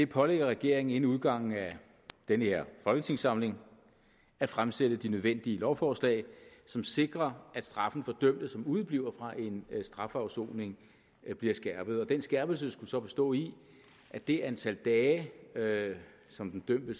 pålægger regeringen inden udgangen af denne folketingssamling at fremsætte de nødvendige lovforslag som sikrer at straffen for dømte som udebliver fra en strafafsoning bliver skærpet den skærpelse skulle så bestå i at det antal dage dage som den dømte